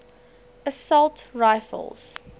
assault rifles